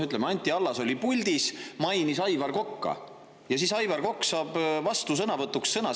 Ütleme, Anti Allas oli puldis ja mainis Aivar Kokka, nii et Aivar Kokk saab vastusõnavõtuks sõna.